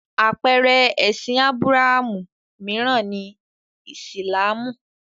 Àpeere ẹ̀sìn Ábúráhámù mìíràn ni Ìsìlámù.